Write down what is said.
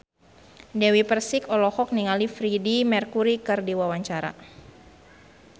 Dewi Persik olohok ningali Freedie Mercury keur diwawancara